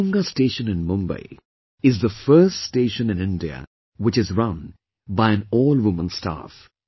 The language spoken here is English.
Matunga station in Mumbai is the first station in India which is run by an all woman staff